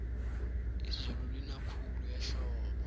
izulu lina khulu ehlobo